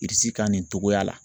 Irisi kan nin cogoya la